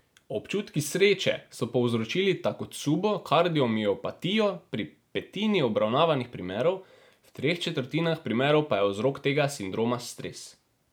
Občutki sreče so povzročili takotsubo kardiomiopatijo pri petini obravnavanih primerov, v treh četrtinah primerov, pa je vzrok tega sindroma stres.